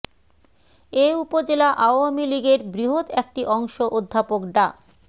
এ উপজেলা আওয়ামী লীগের বৃহৎ একটি অংশ অধ্যাপক ডা